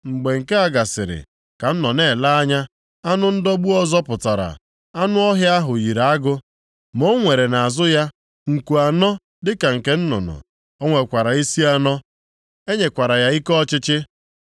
“Mgbe nke a gasịrị, ka m nọ na-ele anya, anụ ndọgbu ọzọ pụtara, anụ ọhịa ahụ yiri agụ, ma o nwere nʼazụ ya nku anọ dịka nke nnụnụ. O nwekwara isi anọ. E nyekwara ya ike ọchịchị.